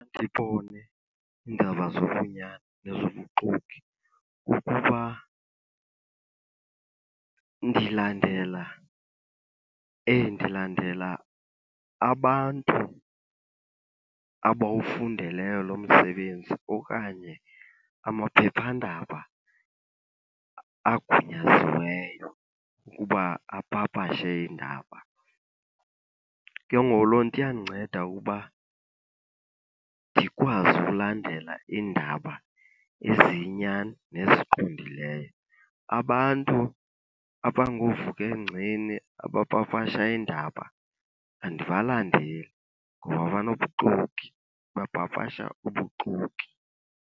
iindaba zobunyani nezobuxoki kukuba ndilandela, ndilandela abantu abawufundeleyo lo msebenzi okanye amaphephandaba agunyaziweyo ukuba apapashe iindaba. Ke ngoku loo nto iyandinceda ukuba ndikwazi ulandela iindaba eziyinyani neziqondileyo. Abantu abangoovuka engceni abapapasha iindaba andibalandeli ngoba banobuxoki, bapapasha ubuxoki.